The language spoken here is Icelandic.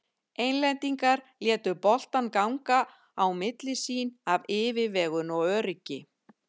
Englendingar létu boltann ganga á milli sín af yfirvegun og öryggi.